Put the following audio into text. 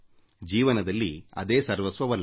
ಜೀವನದಲ್ಲಿ ಅದೇ ಸರ್ವಸ್ವವಲ್ಲ